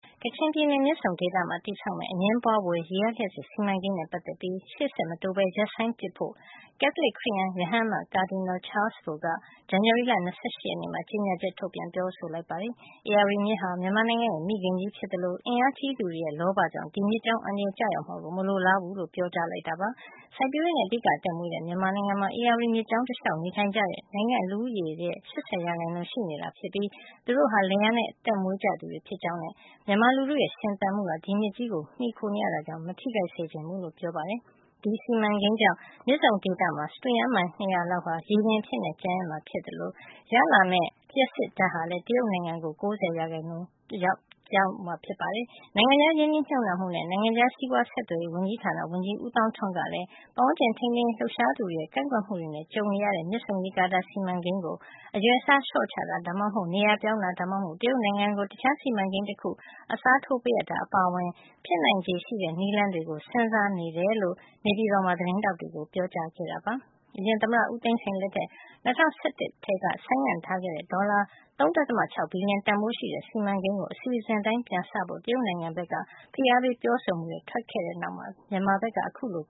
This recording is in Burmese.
ကချင်ပြည်နယ် မြစ်ဆုံဒေသမှာ တည်ဆောက်မယ့် အငြင်းပွါးဖွယ် ရေအားလျှပ်စစ် စီမံကိန်းနဲ့ ပတ်သက်ပြီး ရှေ့ဆက်မတိုးပဲ ရပ်ဆိုင်းပစ်ဖို့ ကက်သလစ်ခရစ်ယန် ရဟန်းအမတ် Cardinal Charles Bo က ဇန်နဝါရီလ ၂၈ ရက်နေ့မှာ ကြေညာချက် ထုတ်ပြန် ပြောဆိုလိုက်ပါတယ်။ ဧရာဝတီမြစ်ဟာ မြန်မာနိုင်ငံရဲ့ မိခင်ကြီးဖြစ်သလို အင်အားကြီးသူတွေရဲ့ လောဘကြောင့် ဒီမြစ်ကြောင်း အန္တရာယ်ကျရောက်မှာကို မလိုလားဘူးလို့ ပြောကြားလိုက်တာပါ။ စိုက်ပျိုးရေးနဲ့ အဓိက အသက်မွေးတဲ့ မြန်မာနိုင်ငံမှာ ဧရာဝတီမြစ်ကြောင်း တလျှောက် နေထိုင်ကြသူက နိုင်ငံ့လူဦးရေရဲ့ ၈၀ % ရှိနေတာဖြစ်ပြီး သူတို့တွေဟာ လယ်ယာနဲ့ အသက်မွေးကြသူတွေ ဖြစ်ကြောင်းနဲ့ မြန်မာလူထုရဲ့ ရှင်သန်မှုဟာ ဒီမြစ်ကြီးကို မှီခိုနေရတာ ကြောင့် မထိခိုက်စေချင်ဘူးလို့ ပြောပါတယ်။ ဒီစီမံကိန်းကြောင့် မြစ်ဆုံဒေသမှာ စတုရန်မိုင် ၂၀၀ လောက် ရေလွှမ်းသွားမှာ ဖြစ်သလို ဒီစီမံကိန်းက ရတဲ့ လျှပ်စစ်အားလုံးရဲ့ ၉၀ % ဟာလည်း တရုတ်နိုင်ငံကို ပေးရမှာ ဖြစ်ပါတယ်။ နိုင်ငံခြားရင်းနှီးမြှုပ်နှံမှုနဲ့ နိုင်ငံခြားစီးပွားဆက်သွယ်ရေး ဝန်ကြီးဌာန ဝန်ကြီး ဦးသောင်းထွန်းကလည်း ပတ်ဝန်းကျင် ထိန်းသိမ်းရေး လှုပ်ရှားသူတွေရဲ့ ကန့်ကွက်မှုတွေ ကြုံနေရတဲ့ မြစ်ဆုံရေကာတာ စီမံကိန်းကို အရွယ်အစား လျှော့ချတာ၊ ဒါမှမဟုတ် နေရာပြောင်းတာ ဒါမှမဟုတ် တရုတ်နိုင်ငံကို တခြားစီမံကိန်းတခု အစားထိုးပေးအပ်တာ အပါအဝင် ဖြစ်နိုင်ချေရှိတဲ့ နည်းလမ်းတွေကို စဉ်းစားနေတယ်လို့ နေပြည်တော်မှာ သတင်းထောက်တွေကို ပြောကြားခဲ့ပါတယ်။ အရင်သမ္မတဦးသိန်းစိန် လက်ထက် ၂၀၁၁ ခုနှစ်ကတည်းက ဆိုင်းငံ့ထားခဲ့တဲ့ဒေါ်လာ ၃.၆ ဘီလီယံ တန်ဘိုးရှိတဲ့ စီမံကိန်းကို အစီအစဉ်အတိုင်း ပြန်စနိုင်ဖို့ တရုတ်နိုင်ငံဘက်က ဖိအားပေး ပြောဆိုမှုတွေ ထွက်ပေါ်လာပြီးနောက်မှာပဲ မြန်မာဘက်က အခုလို